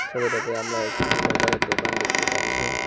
ছবিটাতে আমরা একটি মোবাইলের দোকান দেখতে পাচ্ছি।